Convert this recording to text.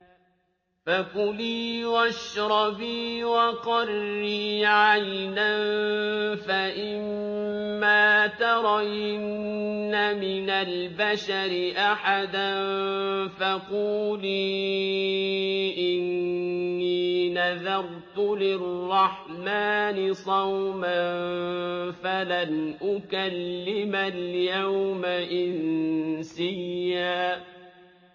فَكُلِي وَاشْرَبِي وَقَرِّي عَيْنًا ۖ فَإِمَّا تَرَيِنَّ مِنَ الْبَشَرِ أَحَدًا فَقُولِي إِنِّي نَذَرْتُ لِلرَّحْمَٰنِ صَوْمًا فَلَنْ أُكَلِّمَ الْيَوْمَ إِنسِيًّا